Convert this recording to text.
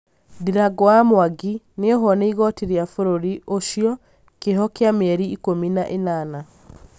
ndirangu wa Mwangi nĩohwo nĩ igoti rĩa bũrũri ũcio, kĩoho kĩa mĩeri ikũmi na ĩnana